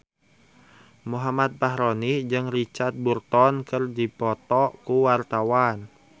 Muhammad Fachroni jeung Richard Burton keur dipoto ku wartawan